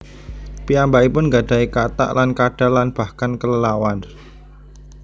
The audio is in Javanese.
Piyambakipun nggadahi katak lan kadal lan bahkan kelelawar